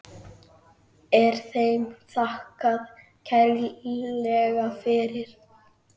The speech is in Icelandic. Er þeim þakkað kærlega fyrir.